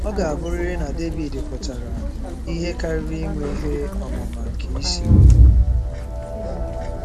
Ọ ga-abụrịrị na Devid pụtara ihe karịrị inwe ihe ọmụma nke isi.